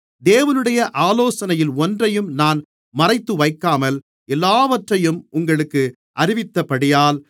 தேவனுடைய ஆலோசனையில் ஒன்றையும் நான் மறைத்துவைக்காமல் எல்லாவற்றையும் உங்களுக்கு அறிவித்தபடியால்